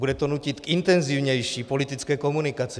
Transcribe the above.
Bude to nutit k intenzivnější politické komunikaci.